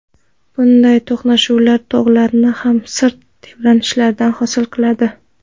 Bunday to‘qnashuvlar tog‘larni yoki sirt tebranishlarini hosil qiladi.